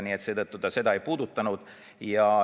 Nii et seetõttu ta seda ei puudutanud.